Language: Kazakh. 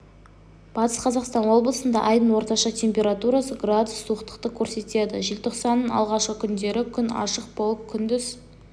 батыс қазақстан облысында айдың орташа температурасы градус суықтықты көрсетеді желтоқсанның алғашқы күндері күн ашық болып күндіз